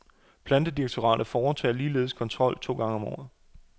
Plantedirektoratet foretager ligeledes kontrol to gange om året.